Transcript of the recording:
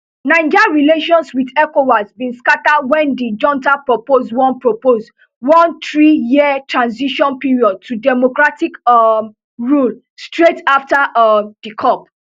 naija relations wit ecowas bin scata wen di junta propose one propose one three year transition period to democratic um rule straight afta um di cup